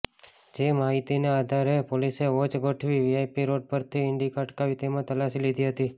જે માહિતીને આધારે પોલીસે વોચ ગોઠવી વીઆઇપી રોડ પરથી ઇન્ડિકા અટકાવી તેમાં તલાશી લીધી હતી